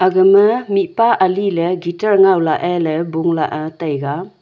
gama mihpa ali le guitar ngai lah ae la bung lah ae le taiga.